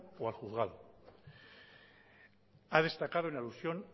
o al juzgado ha destacado en alusión